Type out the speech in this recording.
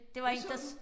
Hvad så du?